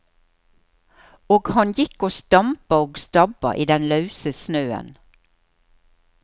Og han gikk og stampa og stabba i den lause snøen.